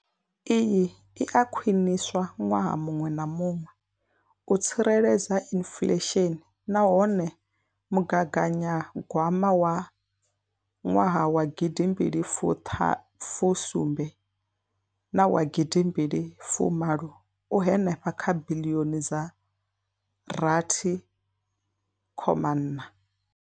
Iyi i a khwiniswa ṅwaha muṅwe na muṅwe u tsireledza inflesheni nahone mugaganyagwama wa nwaha wa gidi mbili fu ṱhanu fu sumbu na wa gidi mbili fu malo u henefha kha biḽioni dza rathi khoma iṋa.